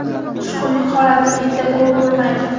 Tushkunlik holati menda ko‘p bo‘lmaydi.